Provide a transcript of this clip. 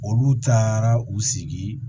Olu taara u sigi